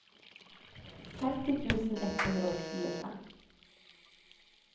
femti tusen ett hundre og tjuefem